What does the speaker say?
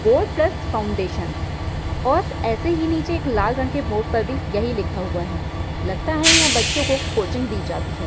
Board plus foundation और ऐसे ही निचे लाल क रंग के बोर्ड पर यही लिखा हुआ है। लगता है यहाँ बच्चो की कोचिंग दी जाती है।